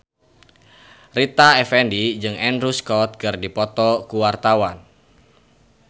Rita Effendy jeung Andrew Scott keur dipoto ku wartawan